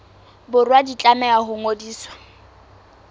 borwa di tlameha ho ngodiswa